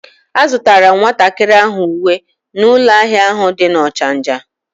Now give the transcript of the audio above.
A zutara m nwatakiri ahu uwe n'ulo ahia ahu di na Ochanja